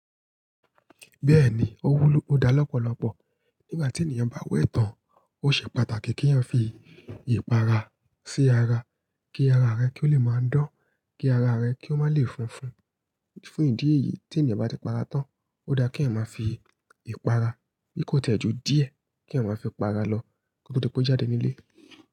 Bẹ́ẹ̀ni, ó wúlò, ó da lọ́pọ̀lọpọ̀. Nígbà tí ènìyàn bá wé tàn, ó ṣe pàtàkì kí èèyàn fi ìpara sí ara, kí ara rẹ kí ó lè máa dán, kí ara rẹ kí ó má lè funfun. Fún ìdí èyí tí ènìyàn bá ti para tán, ó da kí èèyàn máa fi ìpara, bí kò tẹ̀ ju díẹ̀ kí èèyàn máa fi ipara lọ, kò tó dipe o jáde nílé.